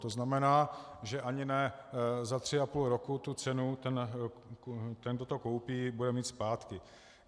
To znamená, že ani ne za tři a půl roku tu cenu ten, kdo to koupí, bude mít zpátky.